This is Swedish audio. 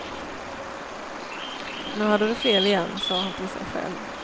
Nu hade du fel igen, sa han till sig själv.